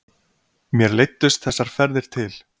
Mér leiddust þessar ferðir til